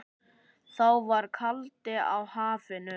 Þá var kaldi í hafinu.